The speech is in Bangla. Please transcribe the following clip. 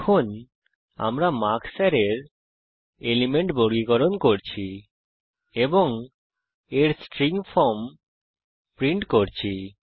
এখন আমরা মার্কস অ্যারের এলিমেন্ট বর্গীকরণ করছি এবং এর স্ট্রিং ফর্ম প্রিন্ট করছি